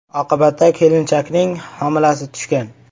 Oqibatda kelinchakning homilasi tushgan.